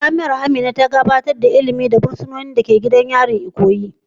Jami'a Amina ta gabatar da shirye-shiryen ilimi ga fursunonin da ke cikin matsakaicin tsaro a gidan yari, Ikoyi.